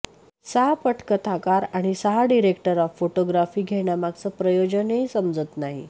सहा पटकथाकार आणि सहा डिरेक्टर अॉफ फोटोग्राफी घेण्यामागचं प्रयोजनही समजत नाही